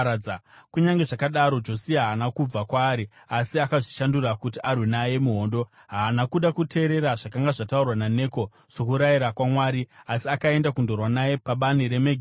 Kunyange zvakadaro Josia haana kubva kwaari asi akazvishandura kuti arwe naye muhondo. Haana kuda kuteerera zvakanga zvataurwa naNeko sokurayira kwaMwari asi akaenda kundorwa naye pabani reMegidho.